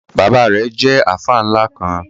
Bábà rẹ̀ jẹ̀ alfa nla kan.